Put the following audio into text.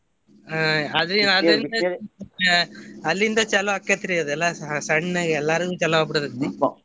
ಅಹ್ ನೆಗಡಿ ಆದಂಗ ಅಲ್ಲಿಂದ ಚಾಲೂ ಆಕ್ಕೆತ್ರಿ ಇದೆಲ್ಲಾ ಸಣ್ಣಗ್ ಎಲ್ಲಾರ್ಗು ಚಲೋ ಅಗಿಬಿಡ್ತೇತಿ .